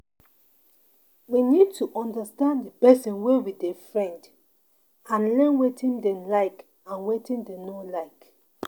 We need to understand di person wey we dey friend and learn wetin dem like and wetin dem no like